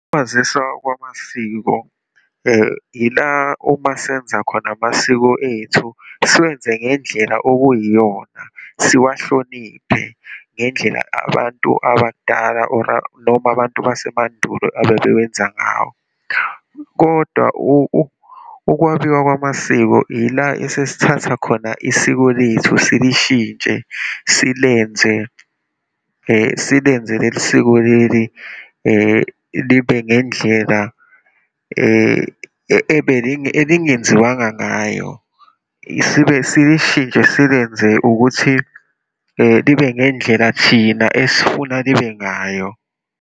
Ukwaziswa kwamasiko ila uma senza khona amasiko ethu siwenze ngendlela okuyiyona, siwahloniphe ngendlela abantu abadala or noma abantu basemandulo ababewenza ngayo. Kodwa ukwabiwa kwamasiko ila esesithatha khona isiko lethu silishintshe, silenze silenze leli siko leli libe ngendlela elingenziwanga ngayo, sibe silishintshe, silenze ukuthi libe ngendlela thina esifuna libe ngayo.